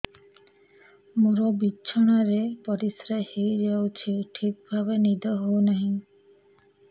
ମୋର ବିଛଣାରେ ପରିସ୍ରା ହେଇଯାଉଛି ଠିକ ଭାବେ ନିଦ ହଉ ନାହିଁ